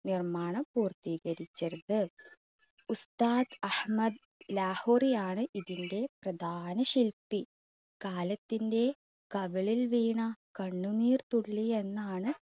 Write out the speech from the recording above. നിർമ്മാണം പൂർത്തീകരിച്ചത്. ഉസ്താദ് അഹമ്മദ് ലാഹോറിയാണ് ഇതിൻറെ പ്രധാന ശില്പി കാലത്തിന്റെ കവിളിൽ വീണ കണ്ണുനീർത്തുള്ളി എന്നാണ്